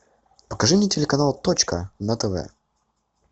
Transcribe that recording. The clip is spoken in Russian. покажи мне телеканал точка на тв